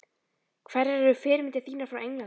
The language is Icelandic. Hverjar eru fyrirmyndir þínar frá Englandi?